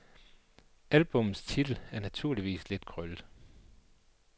Albummets titel er naturligvis lidt krøllet.